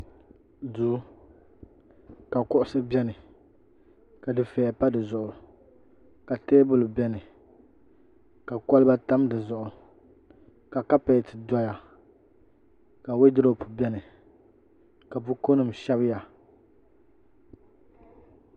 duu ka kuɣisi bɛni ka dufɛya pa di zuɣu ka teebuli bɛni ka kɔliba tam di zuɣu ka kapɛti doya ka waduropu bɛni ka bukunima shɛbiya